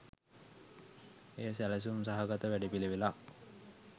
එය සැලසුම් සහගත වැඩපිළිවෙළක්